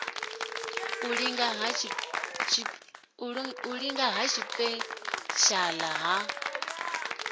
u linga ha tshipeshala ha